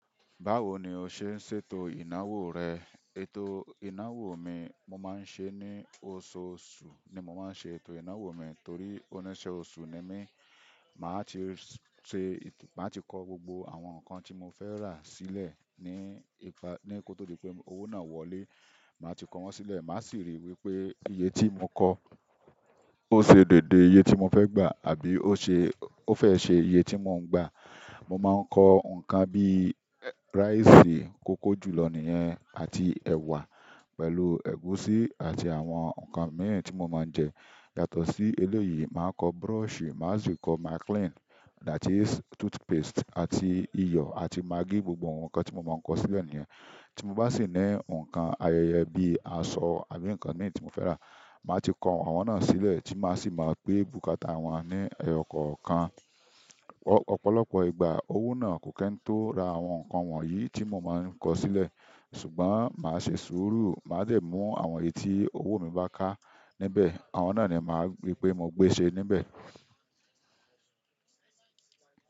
Báwo ni o ṣe ń ṣètò ìnáwó rẹ? Ètò ìnáwó mi, mo máa ń ṣeé ní oṣooṣù, ni mo máa ń ṣe ètò mi, torí òníṣẹ́ oṣù ni mí. Màá ti ṣe, màá ti kọ gbogbo àwọn nǹkan tí mo fẹ́ rà sílẹ̀ ní ipa, ní kó tó di pé owó náà wọlé. Màá ti kọ wọ́n sílẹ̀, màá sì ríi wí pé iye tí mo kọ ó ṣe déédé iye tí mo fẹ́ gbà àbí ó ṣe, ó fẹ́ ṣe iye tí mò ń gbà. Mo máa ń kọ nǹkan bí rice, kókó jùlọ nìyẹn àti ẹ̀wà pẹ̀lú ẹ̀gúsí àti àwọn nǹkan míì tí mo máa ń jẹ. Yàtọ̀ sí eléyìí, màá kọ brush, màá sì kọ maclean, that is, toothpaste àti iyọ̀ àti maggi, gbogbo àwọn nǹkan tí mo máa ń kọ sílẹ̀ nìyẹn. Tí mo bá sì ní nǹkan ayẹyẹ bí aṣọ àbí nǹkan míì tí mo fẹ́ rà, màá ti kọ àwọn náà sílẹ̀ tí màá sì máa gbé bukata wọ́n ní ọ̀kọ̀ọ̀kan. Ọ̀pọ̀lọpọ̀ ìgbà owó náà kò kí ń tó ra àwọn nǹkan wọ̀nyí tí mo máa ń kọ sílẹ̀. Ṣùgbọ́n màá ṣe sùúrù, màá dẹ̀ mú àwọn èyí tí owó mi bá ká níbẹ̀, àwọn náà ni màá gbé pé mo gbé ṣe níbẹ̀.